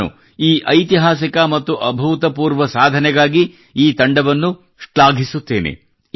ನಾನು ಈ ಐತಿಹಾಸಿಕ ಮತ್ತು ಅಭೂತಪೂರ್ವ ಸಾಧನೆಗಾಗಿ ಈ ತಂಡವನ್ನು ಶ್ಲಾಘಿಸುತ್ತೇನೆ